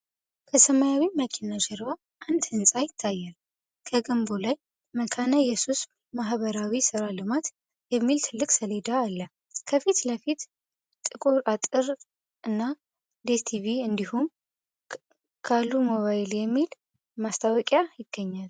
ከሰማያዊ መኪና ጀርባ አንድ ሕንጻ ይታያል። ከግንቡ ላይ "መካነ ኢየሱስ ማኅበራዊ ሥራ ልማት" የሚል ትልቅ ሰሌዳ አለ። ከፊት ለፊት ጥቁር አጥር እና 'ዴስቲቪ እንዲሁም 'Kalu Mobile' የሚሉ ማስታወቂያዎች ይገኛሉ።